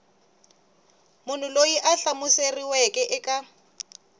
munhu loyi a hlamuseriweke eka